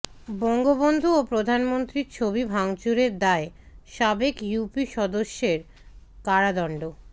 বঙ্গবন্ধু ও প্রধানমন্ত্রীর ছবি ভাঙচুরের দায়ে সাবেক ইউপি সদস্যের কারাদণ্ড